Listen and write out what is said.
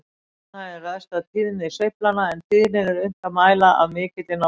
Tónhæðin ræðst af tíðni sveiflanna, en tíðnina er unnt að mæla af mikilli nákvæmni.